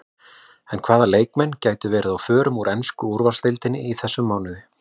En hvaða leikmenn gætu verið á förum úr ensku úrvalsdeildinni í þessum mánuði?